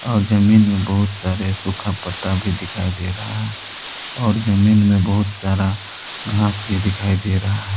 और जमीन में बहुत सारे सुखा पत्ता भी दिखाई दे रहा है और जमीन में बहुत सारा घास भी दिखाई दे रहा--